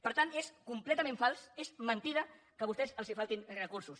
per tant és completament fals és mentida que a vostès els faltin recursos